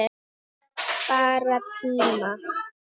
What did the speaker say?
Bara tíma